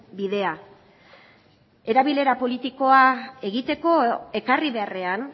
bidea erabilera politikoa egiteko ekarri beharrean